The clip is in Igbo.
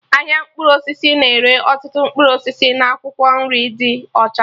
Ahịa mkpụrụ osisi na-ere ọtụtụ mkpụrụ osisi na akwụkwọ nri ndị ọcha